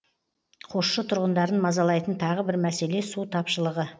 қосшы тұрғындарын мазалайтын тағы бір мәселе су тапшылығы